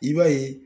I b'a ye